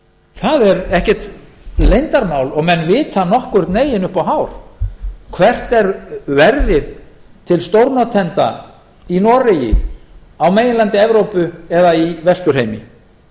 það er ekkert leyndarmál og menn vita nokkurn veginn upp á hár hvert er verðið til stórnotenda í noregi á meginlandi evrópu eða í vesturheimi